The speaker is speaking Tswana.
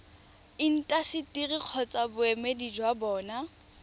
intaseteri kgotsa boemedi jwa bona